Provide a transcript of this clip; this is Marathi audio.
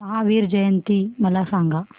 महावीर जयंती मला सांगा